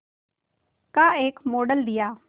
का एक मॉडल दिया